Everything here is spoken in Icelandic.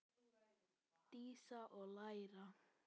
Dísa: Og læra.